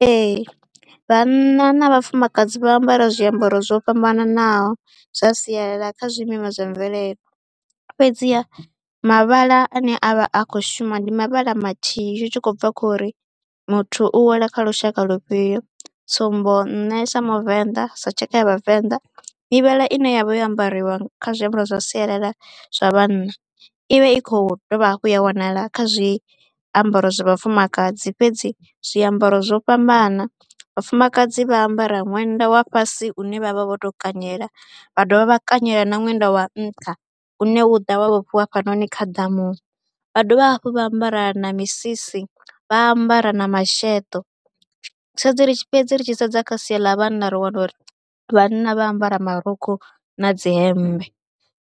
Ee vhanna na vhafumakadzi vha ambara zwiambaro zwo fhambananaho zwa sialala kha zwimima zwa mvelele. Fhedziha mavhala ane a vha a khou shuma ndi mavhala mathihi zwi tshi khou bva khou ri muthu u wela kha lushaka lufhio. Tsumbo nṋe sa muvenḓa sa tshaka ya vhavenḓa, mivhala ine ya vha yo ambariwa kha zwiambaro zwa sialala zwa vhanna i vha i khou dovha hafhu ya wanala kha zwi zwiambaro zwa vhafumakadzi. Fhedzi zwiambaro zwo fhambana, vhafumakadzi vha ambara ṅwenda wa fhasi une vha vha vho tou kanyela, vha dovha vha kanyela na ṅwenda wa nṱha une u ḓa wa vhofhiwa hafhanoni kha ḓamu vha dovha hafhu vha ambara na misisi, vha ambara na masheḓo. Fhedzi ri tshi fhedzi ri tshi sedza kha sia ḽa vhanna ri wana uri vhanna vha ambara marukhu na dzi hemmbe